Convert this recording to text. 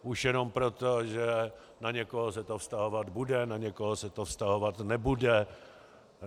Už jenom proto, že na někoho se to vztahovat bude, na někoho se to vztahovat nebude.